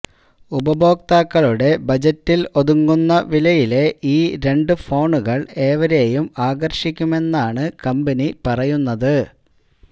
ഉപഭോക്താക്കളുടെ ബജറ്റില് ഒതുങ്ങുന്ന വിലയിലെ ഈ രണ്ട് ഫോണുകള് ഏവരേയും ആകര്ഷിക്കുമെന്നാണ് കമ്പനി പറയുന്നത്